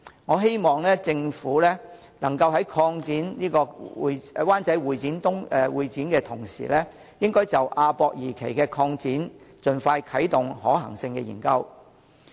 我希望政府能夠在擴建灣仔會展中心的同時，就亞博館二期的擴建盡快啟動可行性研究。